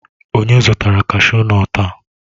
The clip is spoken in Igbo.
Onye zụtara kashu nọtu a?